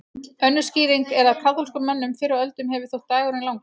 Önnur skýring er að kaþólskum mönnum fyrr á öldum hefur þótt dagurinn langur.